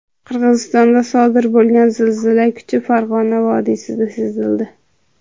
Qirg‘izistonda sodir bo‘lgan zilzila kuchi Farg‘ona vodiysida sezildi.